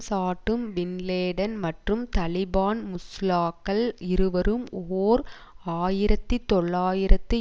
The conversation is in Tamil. சாட்டும் பின்லேடன் மற்றும் தலிபான் முஸ்லாக்கள் இருவரும் ஓர் ஆயிரத்தி தொள்ளாயிரத்தி